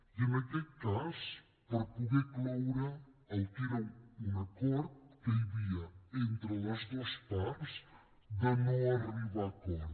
i en aquest cas per poder cloure el que era un acord que hi havia entre les dues parts de no arribar a acord